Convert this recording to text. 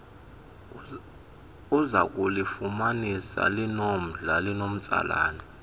uzakulufumanisa lunomdla linomtsalane